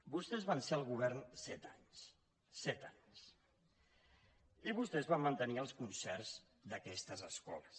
vostès van ser al govern set anys set anys i vostès van mantenir els concerts d’aquestes escoles